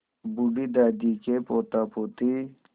बूढ़ी दादी के पोतापोती